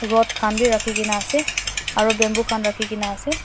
rod khan b raki kena ase aro bamboo khan raki kena ase.